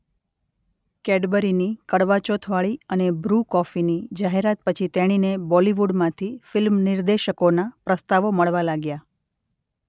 કૅડબરીની કડવા ચોથવાળી અને બ્રુ કૉફીની જાહેરાત પછી તેણીને બૉલિવૂડમાંથી ફિલ્મ નિર્દેશકોનાં પ્રસ્તાવો મળવા લાગ્યા.